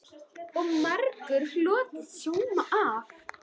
Og margur hlotið sóma af.